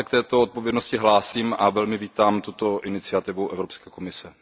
Já se k této odpovědnosti hlásím a velmi vítám tuto iniciativu Evropské komise.